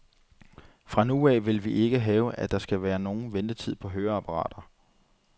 Fra nu af vil vi ikke have, at der skal være nogen ventetid på høreapparater.